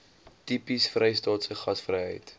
tipies vrystaatse gasvryheid